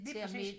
Lige præcis